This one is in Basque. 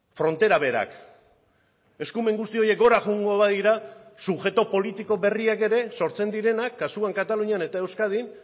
frontera berak eskumen guzti horiek gora joango badira subjektu politiko berriak ere sortzen direnak kasuan katalunian eta euskadin